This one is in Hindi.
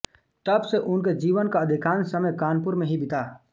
तब से उनके जीवन का अधिकांश समय कानपुर में ही बीता